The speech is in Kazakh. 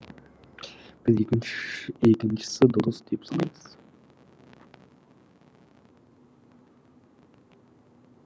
біз екіншісі дұрыс деп санаймыз